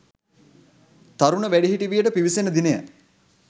තරුණ වැඩිහිටි වියට පිවිසෙන දිනය